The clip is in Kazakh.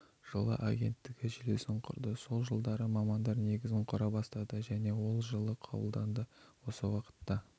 жылы агенттігі желісін құрды сол жылдары мамандар негізін құра бастады және ол жылы қабылданды осы уақытта